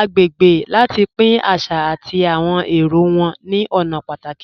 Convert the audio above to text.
agbègbè láti pín àṣà àti àwọn èrò wọn ni ọ̀nà pátàkì.